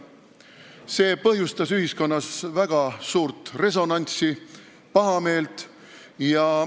See põhjustas ühiskonnas väga suurt resonantsi ja pahameelt.